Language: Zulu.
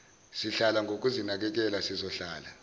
sihlala ngokuzinakekela sizohlala